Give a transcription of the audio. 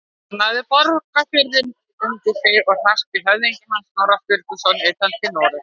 Hann lagði Borgarfjörð undir sig og hrakti höfðingja hans, Snorra Sturluson, utan til Noregs.